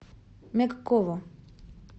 мягкову